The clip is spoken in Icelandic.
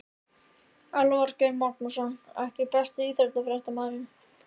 Elvar Geir Magnússon EKKI besti íþróttafréttamaðurinn?